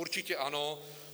Určitě ano.